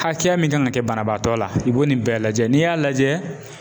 Hakɛya min kan ka kɛ banabaatɔ la i bo nin bɛɛ lajɛ n'i y'a lajɛ